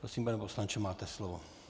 Prosím, pane poslanče, máte slovo.